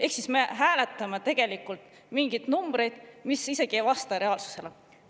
Ehk me hääletame mingeid numbreid, mis isegi ei vasta reaalsusele.